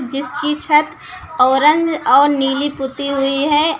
जिसकी छत ऑरेंज और नीली पुती हुई है।